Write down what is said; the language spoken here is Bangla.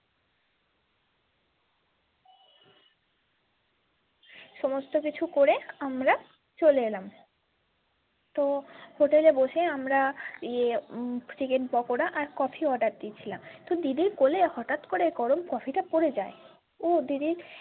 সমস্ত কিছু করে আমরা চলে এলাম তো hotel এ বসে আমরা ইয়ে উম থেকে পাকোড়া আর cofeeorder দিয়েছিলাম তো দিদির কোলে হটাৎ করে গরম coffee টা পরে যায় উহ দিদির।